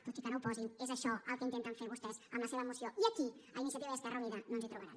tot i que no ho posin és això el que intenten fer vostès amb la seva moció i aquí a iniciativa i a esquerra unida no ens hi trobaran